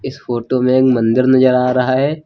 इस फोटो में एक मंदिर नजर आ रहा है।